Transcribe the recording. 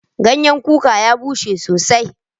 Ganyan kuka ya bushe sosai.